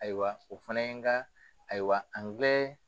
Ayiwa o fana ye n ka ayiwa